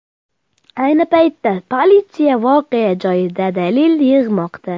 Ayni paytda politsiya voqea joyida dalil yig‘moqda.